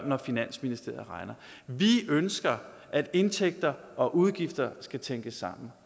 når finansministeriet regner vi ønsker at indtægter og udgifter skal tænkes sammen